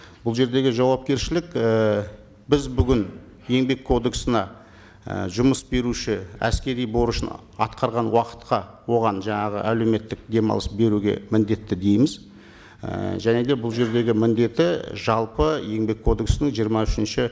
бұл жердегі жауапкершілік ііі біз бүгін еңбек кодексіне і жұмыс беруші әскери борышын атқарған уақытқа оған жаңағы әлеуметтік демалыс беруге міндетті дейміз і және де бұл жердегі міндеті жалпы еңбек кодексінің жиырма үшінші